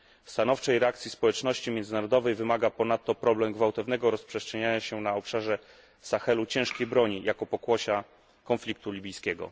Stanowczej reakcji społeczności międzynarodowej wymaga ponadto problem gwałtownego rozprzestrzeniania się na obszarze Sahelu ciężkiej broni jako pokłosia konfliktu libijskiego.